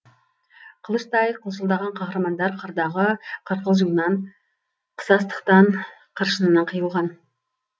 қылыштай қылшылдаған қаһармандар қырдағы қырқылжыңнан қысастықтан қыршынынан қиылған